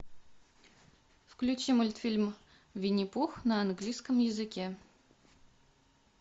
включи мультфильм винни пух на английском языке